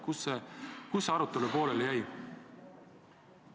Kus see arutelu pooleli jäi?